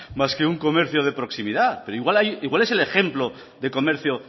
más que un comercio de proximidad pero igual es el ejemplo de comercio